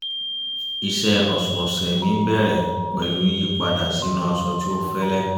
iṣẹ́ ọ̀sọ̀ọ̀sẹ̀ mi ń bẹ̀rẹ̀ pẹ̀lú yíyí padà sínú aṣọ tí ó fẹ́lẹ́